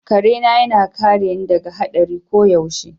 Kare na yana kare ni daga hadari koyaushe.